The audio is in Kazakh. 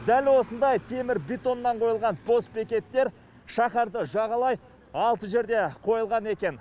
дәл осындай темір бетоннан қойылған постбекеттер шаһарды жағалай алты жерде қойылған екен